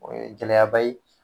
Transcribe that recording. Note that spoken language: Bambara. O ye gɛlɛya ba ye